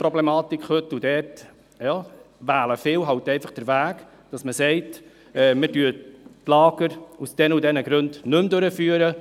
Viele wählen halt einfach den Weg, dass sie sagen, man führe die Lager aus diesen oder jenen Gründen nicht mehr durch.